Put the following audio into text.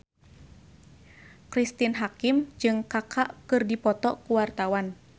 Cristine Hakim jeung Kaka keur dipoto ku wartawan